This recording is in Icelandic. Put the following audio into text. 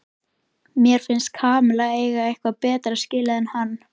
Mér finnst Kamilla eiga eitthvað betra skilið en hann.